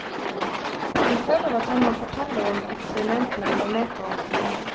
Han føler at han må fortelle om eksperimentene han var med på som ung.